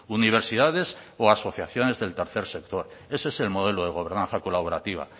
universidades o asociaciones del tercer sector ese es el modelo de gobernanza colaborativa